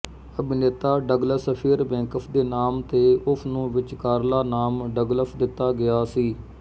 ਅਭਿਨੇਤਾ Douglas Fairbanks ਦੇ ਨਾਮ ਤੇ ਉਸ ਨੂੰ ਵਿਚਕਾਰਲਾ ਨਾਮ ਡਗਲਸ ਦਿੱਤਾ ਗਿਆ ਸੀ